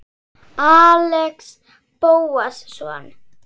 Axel Bóasson